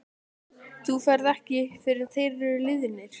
Þú ferð ekki fyrr en þeir eru liðnir.